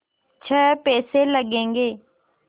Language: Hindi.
छः पैसे लगेंगे